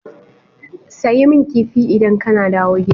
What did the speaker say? Sayi min Kifi idan kana dawo gida.